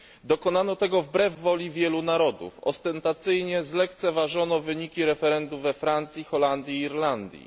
Dokonano tego wbrew woli wielu narodów. Ostentacyjnie zlekceważono wyniki referendum we Francji, w Holandii i w Irlandii.